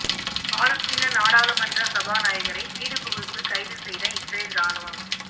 பாலஸ்தீன நாடாளுமன்ற சபாநாயகரை வீடு புகுந்து கைது செய்த இஸ்ரேல் ராணுவம்